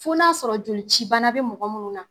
Fo n'a sɔrɔ jolici bana be mɔgɔ munnu na